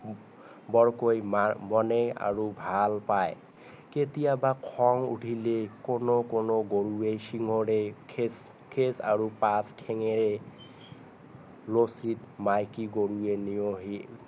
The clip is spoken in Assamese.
বৰকৈ মনে আৰু ভাল পাই কেতিয়াবা খং উঠিলে কোনো কোনো গৰুৱে শিংৰে খেদ খেদ আৰু পাছ ঠেঙেৰে মাইকী গৰুৱে